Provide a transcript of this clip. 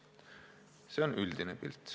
" See on üldine pilt.